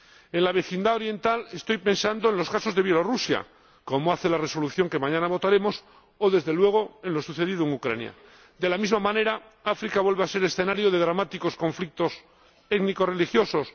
En la vecindad oriental, estoy pensando en los casos de Bielorrusia —como hace la Resolución que mañana votaremos— o, desde luego, en lo sucedido en Ucrania. De la misma manera, África vuelve a ser escenario de dramáticos conflictos étnico religiosos.